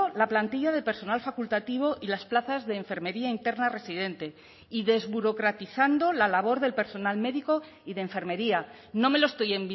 la plantilla de personal facultativo y las plazas de enfermería interna residente y desburocratizando la labor del personal médico y de enfermería no me lo estoy